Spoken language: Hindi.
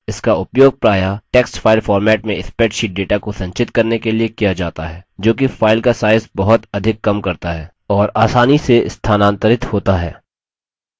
इसका उपयोग प्रायः text file format में spreadsheet data को संचित करने के लिए किया data है जो कि file का size बहुत अधिक कम करता है और आसानी से स्थानांतरित होता है